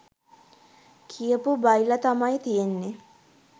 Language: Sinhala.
කියපු බයිලා තමයි තියෙන්නේ.